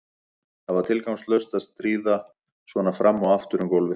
Það var tilgangslaust að skríða svona fram og aftur um gólfið.